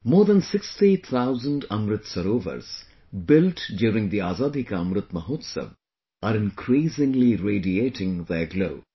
More than 60 thousand Amrit Sarovars built during the 'Azaadi ka Amrit Mahotsav' are increasingly radiating their glow